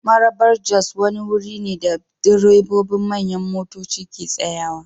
Marabar-Jos wani wuri ne da direbobin manyan motoci ke tsayawa.